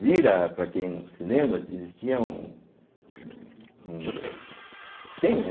Zira, para quem não se lembra, existia um um um tem, né?